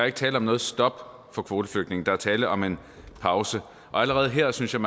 ikke tale om noget stop for kvoteflygtninge der er tale om en pause og allerede her synes jeg